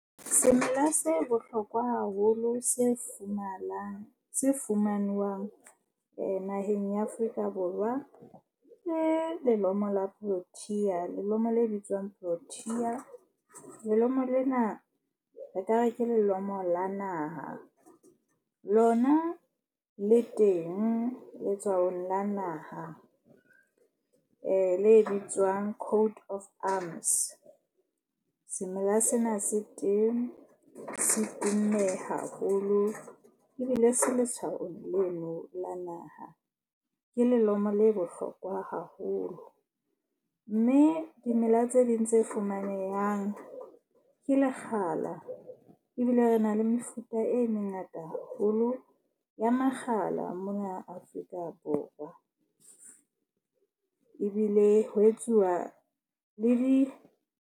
Semela se bohlokwa haholo se fumanang, se fumanwang naheng ya Afrika Borwa ke lelomo la Protea lelomo le bitswang Protea. Lelomo lena, re ka re ke lelomo la naha. Lona le teng le tswa ho nna naha le bitswang Coat of Arms. Semela sena se teng se tumme haholo ebile se letshwao leno la naha. Ke lelomo le bohlokwa haholo. Mme dimela tse ding tse fumanehang ke lekgala. Ebile re na le mefuta e mengata haholo ya makgala mona Afrika Borwa. Ebile ho etsuwa le .